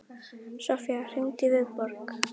Sofía, hringdu í Viborg.